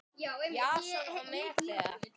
Jason og Medea.